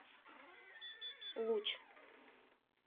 луч